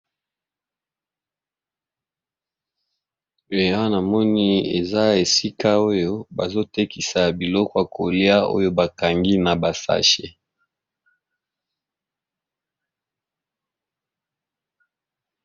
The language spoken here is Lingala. Ehhh Awa ñamoni eza Esika bazotekisa Biloko yakolia Oyo bakangi baba sashe